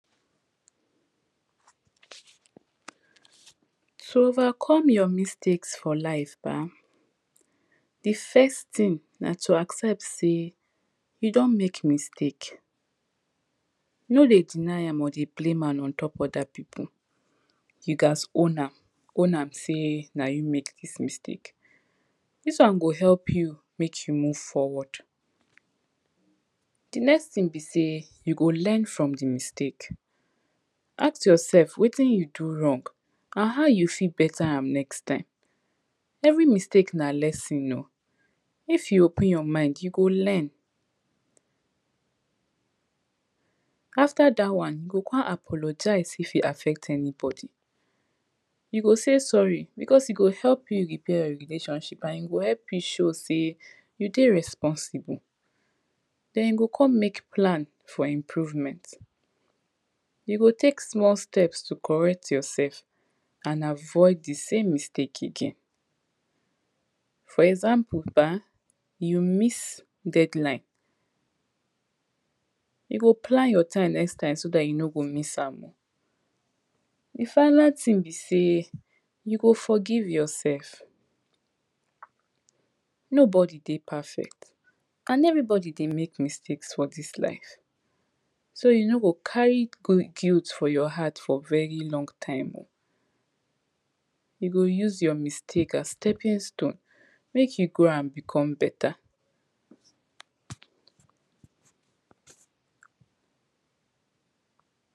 support di use of biodiverse planting, because e fit help reduce di effect of bad wheather conditions.